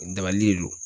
Dabali le don